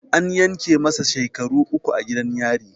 An yanke masa shekaru uku a gidan yari